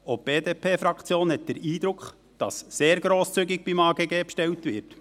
Auch die BDP-Fraktion hat den Eindruck, dass beim AGG sehr grosszügig bestellt wird.